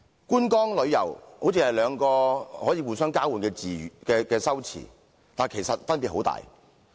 "觀光"、"旅遊"好像是兩個可以互相交換的詞語，但其實分別十分大。